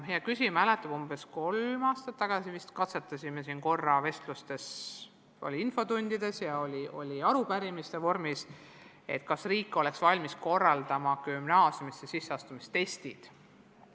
Hea küsija mäletab, et umbes kolm aastat tagasi me arutasime korra infotundides ja arupärimiste raames, kas riik oleks valmis juurutama gümnaasiumisse astumiseks testid.